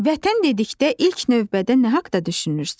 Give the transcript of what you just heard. Vətən dedikdə ilk növbədə nə haqda düşünürsən?